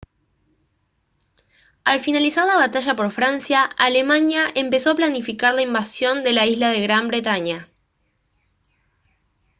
al finalizar la batalla por francia alemania empezó a planificar la invasión de la isla de gran bretaña